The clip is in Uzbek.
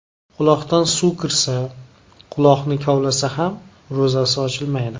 Quloqdan suv kirsa, quloqni kavlasa ham ro‘zasi ochilmaydi.